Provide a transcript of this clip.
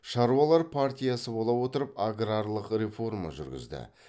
шаруалар партиясы бола отырып аграрлық реформа жүргізді